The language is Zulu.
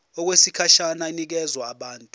okwesikhashana inikezwa abantu